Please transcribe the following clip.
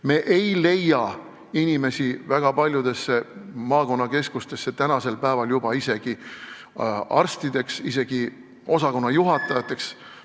Me ei leia inimesi väga paljudesse maakonnakeskustesse praegu isegi arstideks või osakonnajuhatajateks.